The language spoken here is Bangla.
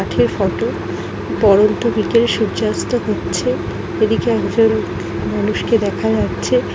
ফটো পড়ন্ত বরন্ত বিকালে সূর্যাস্ত সূর্য অস্ত হচ্ছে | এদিকে হসেরু মানুষকে দেখা যাচ্ছে।